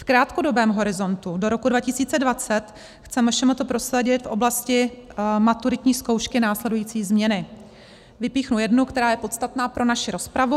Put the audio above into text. V krátkodobém horizontu do roku 2020 chce MŠMT prosadit v oblasti maturitní zkoušky následující změny:" - vypíchnu jednu, která je podstatná pro naši rozpravu.